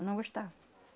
Eu não gostava.